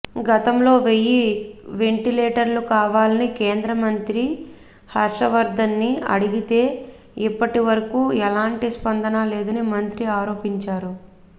గతంలో వెయ్యి వెంటిలేటర్లు కావాలని కేంద్ర మంత్రి హర్షవర్థన్ని అడిగితే ఇప్పటి వరకు ఎలాంటి స్పందన లేదని మంత్రి ఆరోపించారు